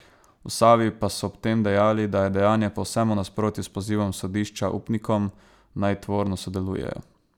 V Savi pa so ob tem dejali, da je dejanje povsem v nasprotju s pozivom sodišča upnikom, naj tvorno sodelujejo.